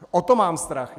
O to mám strach.